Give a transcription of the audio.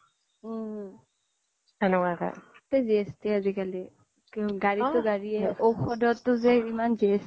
উম চ'বতে GST আজিকালি গাড়ীটো গাড়ীয়েই ঔষধটো ইমান GST